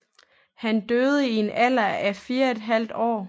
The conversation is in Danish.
Han døde i en alder af 4½ år